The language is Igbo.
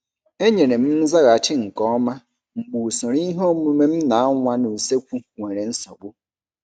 Enyere m nzaghachi nke ọma mgbe usoro ihe omume m na awa n' usekwu nwere nsogbu.